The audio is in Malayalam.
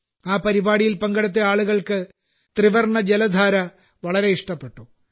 ആ പരിപാടിയിൽ പങ്കെടുത്ത ആളുകൾക്ക് ത്രിവർണ ജലധാര വളരെ ഇഷ്ടപ്പെട്ടു